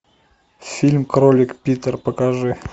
фильм кролик питер покажи